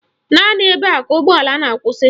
Naanị ebe a ka ụgbọala na-akwụsị